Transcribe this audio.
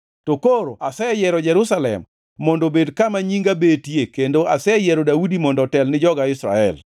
To koro aseyiero Jerusalem mondo obed kama Nyinga betie kendo aseyiero Daudi mondo otel ni joga Israel.’